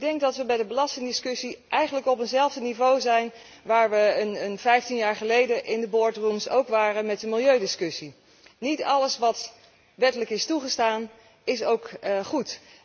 Ik denk dat wij bij de belastingdiscussie eigenlijk op hetzelfde niveau zijn als waar we 15 jaar geleden in de boardrooms ook waren met de milieudiscussie. Niet alles wat wettelijk is toegestaan is ook goed.